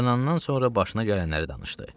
Oyanandan sonra başına gələnləri danışdı.